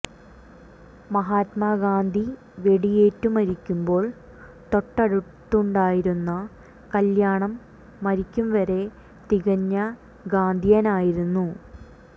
മഹാത്മാ ഗാന്ധി വെടിയേറ്റു മരിക്കുമ്പോൾ തൊട്ടടുത്തുണ്ടായിരുന്ന കല്ല്യാണം മരിക്കും വരെ തികഞ്ഞ ഗാന്ധിയനായിരുന്നു